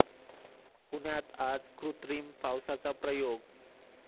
पुण्यात आज कृत्रिम पावसाचा प्रयोग